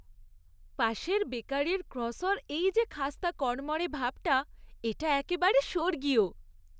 পাশের বেকারির ক্রোস্যাঁর এই যে খাস্তা কড়মড়ে ভাবটা, এটা একেবারে স্বর্গীয়!